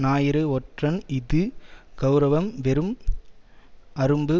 ஞாயிறு ஒற்றன் இஃது கெளரவம் வெறும் அரும்பு